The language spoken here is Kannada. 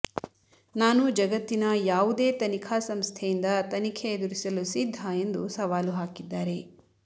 ನಾನು ಜಗತ್ತಿನ ಯಾವುದೇ ತನಿಖಾ ಸಂಸ್ಥೆಯಿಂದ ತನಿಖೆ ಎದುರಿಸಲು ಸಿದ್ಧ ಎಂದು ಸವಾಲು ಹಾಕಿದ್ದಾರೆ